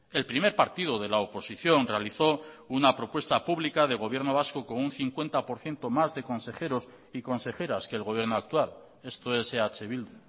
el primer partido de la oposición realizó una propuesta pública de gobierno vasco con un cincuenta por ciento más de consejeros y consejeras que el gobierno actual esto es eh bildu